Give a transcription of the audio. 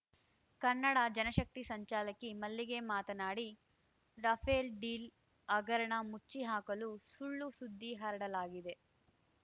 ಕನ್ನಡ ಜನಶಕ್ತಿ ಸಂಚಾಲಕಿ ಮಲ್ಲಿಗೆ ಮಾತನಾಡಿ Rafale deal ಹಗರಣ ಮುಚ್ಚಿ ಹಾಕಲು ಸುಳ್ಳು ಸುದ್ದಿ ಹರಡಲಾಗಿದೆ